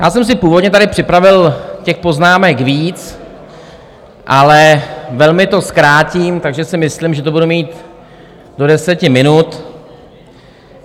Já jsem si původně tady připravil těch poznámek víc, ale velmi to zkrátím, takže si myslím, že to budu mít do deseti minut.